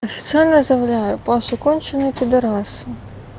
официально заявляю паша конченый пидорас